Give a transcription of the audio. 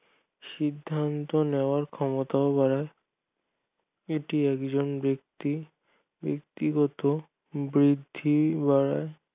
সিদ্ধান্ত নেওয়ার ক্ষমতাও বাড়ায় এটি একজন ব্যক্তি ব্যাক্তিগত বুদ্ধি যা